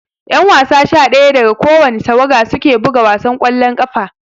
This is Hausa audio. Ƴan wasa sha daya daga kowani tawaga suke buga wasan ƙwallon ƙafa